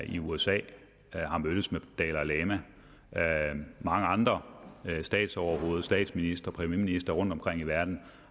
i usa har mødtes med dalai lama mange andre statsoverhoveder statsministre og premierministre rundtomkring i verden